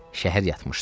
Şəhər yatmışdı.